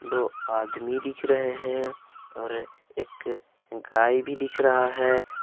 दो आदमी दिख रहे हैं और एक गाय भी दिख रहा है।